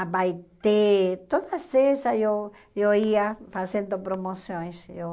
Abaetê, todas essas eu eu ia fazendo promoções. Eu